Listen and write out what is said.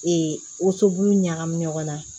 Ee woso bulu ɲagamin ɲɔgɔn na